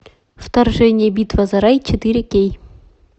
вторжение битва за рай четыре кей